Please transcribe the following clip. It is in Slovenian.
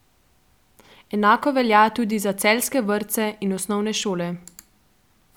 Enako velja tudi za celjske vrtce in osnovne šole.